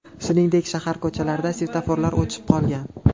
Shuningdek, shahar ko‘chalarida svetoforlar o‘chib qolgan.